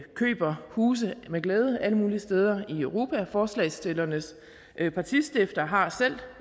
køber huse med glæde alle mulige steder i europa forslagsstillernes partistifter har selv